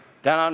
Tänan!